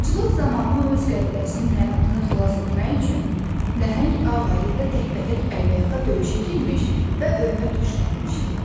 Aclıq zamanı o öz qəbiləsinin həyatını xilas etmək üçün nəhəng ağayı ilə təkbətək əlbəyaxa döyüşə girmiş və ölümə tuş gəlmişdi.